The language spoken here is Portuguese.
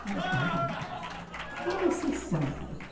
a pergunta, de quem é esses santos?